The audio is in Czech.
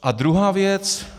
A druhá věc.